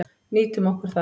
Nýtum okkur það.